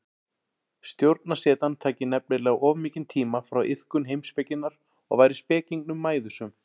Stjórnarsetan tæki nefnilega of mikinn tíma frá iðkun heimspekinnar og væri spekingnum mæðusöm.